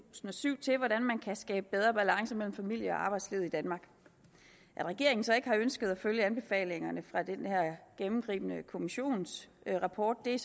og syv til hvordan man kan skabe bedre balance mellem familie og arbejdsliv i danmark at regeringen så ikke har ønsket at følge anbefalingerne fra den her gennemgribende kommissionsrapport er